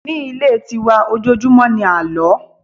Ní ilé ti wa, ojojumo ní àló.